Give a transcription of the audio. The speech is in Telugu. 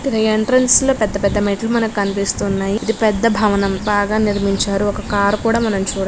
ఇది ఎంట్రెన్స్ లో పెద్ద పెద్ద మెట్లు మనకి కనిపిస్తున్నాయి. ఇది పెద్ద భవనం. బాగా నిర్మించారు. ఒక కార్ కూడా మనం చూ--